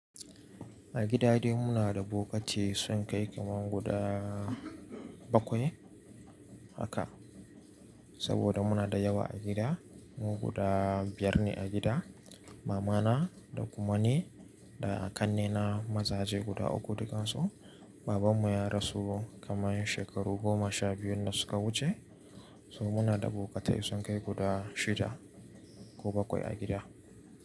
A gida dai muna da bokatai sun kai kamar guda bakwai haka. Saboda muna da yawa a gida. Mu guda biyar ne a gida. Mama na, da kuma ni, da a kanne na mazaje guda uku dukansu. Baban mu ya rasu kamar shekaru goma sha biyun da suka wuce. So muna da bokatai sun kai guda shida ko bakwai a gida.